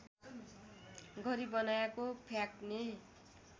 गरी बनाइएको फ्याक्ने